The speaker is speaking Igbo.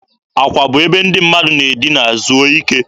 Akwa bụ ebe ndị mmadụ na-edina zuo ike.